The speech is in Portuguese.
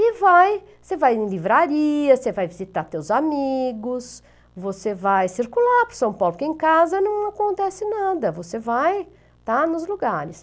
E vai, você vai em livraria, você vai visitar teus amigos, você vai circular em São Paulo, porque em casa não acontece nada, você vai estar nos lugares.